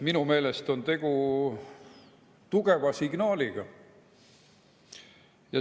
Minu meelest on tegu tugeva signaaliga.